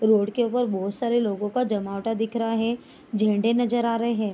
Road के ऊपर बहुत सारे लोगो का जमावड़ा दिख रहा है झंडे नजर आ रहें हैं।